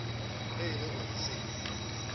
ge e le gore se